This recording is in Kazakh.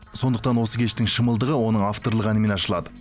сондықтан осы кештің шымылдығы оның авторлық әнімен ашылады